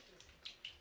Su çəkiləcək.